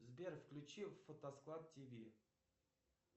сбер включи фотосклад тв